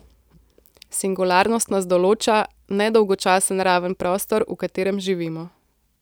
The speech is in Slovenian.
Singularnost nas določa, ne dolgočasen raven prostor, v katerem živimo.